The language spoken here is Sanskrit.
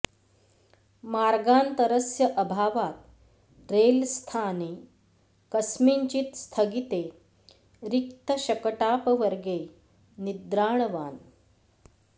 मार्गान्तरस्य अभावात् रेल् स्थाने कस्मिंश्चिद् स्थगिते रिक्तशकटापवर्गे निद्राणवान्